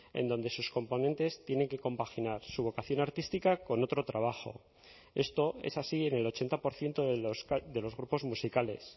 en donde sus componentes tienen que compaginar su vocación artística con otro trabajo esto es así en el ochenta por ciento de los grupos musicales